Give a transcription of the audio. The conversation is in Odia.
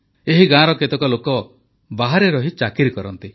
ଏହି ଗାଁର କେତେକ ଲୋକ ବାହାରେ ରହି ଚାକିରି କରନ୍ତି